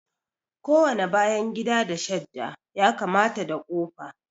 Kowane bayan gida da shadda ya kamata da kofa